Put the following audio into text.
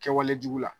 Kɛwale jugu la